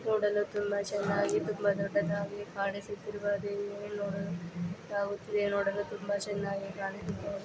ನೋಡಲು ತುಂಬಾ ಚೆನ್ನಾಗಿ ತುಂಬಾ ದೊಡ್ಡದಾಗಿ ಕಾಣಿಸುತ್ತಿರುವ ದೇವಿ ನಾವು ನೋಡಲು ತುಂಬಾ ಚೆನ್ನಾಗಿ ಕಾಣಿಸುತ್ತಾ --